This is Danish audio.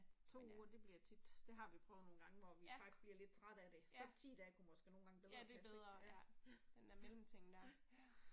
Men øh. Ja, ja. Ja det er bedre ja, den der mellemting der ja